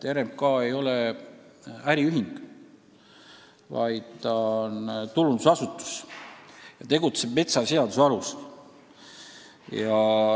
RMK ei ole äriühing, ta on tulundusasutus ja tegutseb metsaseaduse alusel.